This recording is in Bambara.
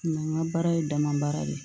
n ka baara ye dama baara de ye